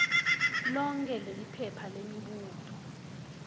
lonkhe leliphepha lemibuto